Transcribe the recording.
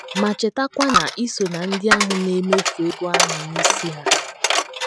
Ma, chetakwa na i so ná ndị a na - emefu ego ahụ n’isi ha.